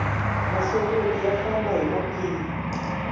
masokoti ya famba hi makhwiri